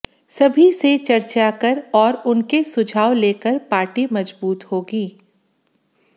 सभी से चर्चा कर और उनके सुझाव लेकर पार्टी मजबूत होगी